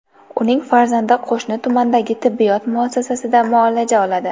Uning farzandi qo‘shni tumandagi tibbiyot muassasasida muolaja oladi.